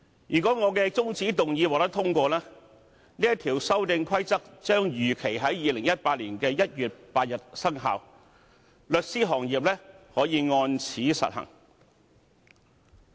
如果我的中止待續議案獲得通過，《修訂規則》將如期在2018年1月8日生效，律師行業可按此實行。